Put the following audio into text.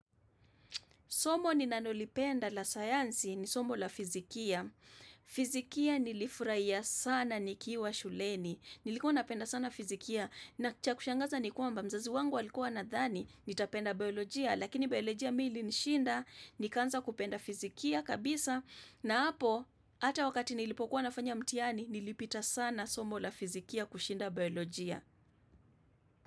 Somo ni nanolipenda la sayansi ni somo la fizikia. Fizikia nilifurahia sana nikiwa shuleni. Nilikuwa napenda sana fizikia. Na cha kushangaza ni kwamba mzazi wangu alikuwa anadhani. Nitapenda biolojia. Lakini biolojia mi ilinishinda Nikaanza kupenda fizikia kabisa na hapo, hata wakati nilipokuwa nafanya mtihani, nilipita sana somo la fizikia kushinda biolojia.